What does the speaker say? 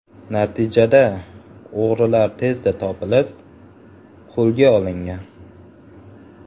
Natijada o‘g‘rilar tezda topilib, qo‘lga olingan.